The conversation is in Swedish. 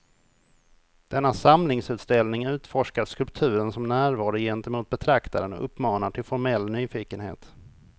Denna samlingsutställning utforskar skulpturen som närvaro gentemot betraktaren och uppmanar till formell nyfikenhet.